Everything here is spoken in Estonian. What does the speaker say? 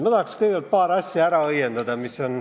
Ma tahaks kõigepealt paar asja ära õiendada.